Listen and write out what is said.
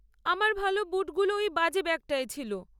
আমার ভাল বুটগুলো ওই বাজে ব্যাগটায় ছিল।